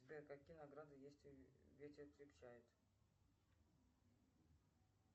сбер какие награды есть у ветер крепчает